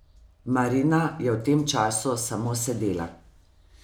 Marina je v tem času samo sedela.